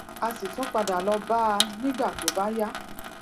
a sì tún padà lọ bá a nígbà tó bá yá